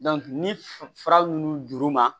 ni fura mun d'u ma